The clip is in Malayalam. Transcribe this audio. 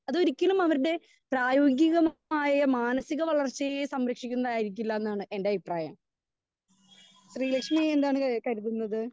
സ്പീക്കർ 2 അത് ഒരിക്കലും അവരുടെ പ്രായോഗിക മായ മാനസിക വളർച്ചയെ സംരക്ഷിക്കുന്നതായിരിക്കില്ല എന്നാണ് എൻ്റെ അഭിപ്രായം.ശ്രീലക്ഷ്മി എന്താണ് കരുതുന്നത്?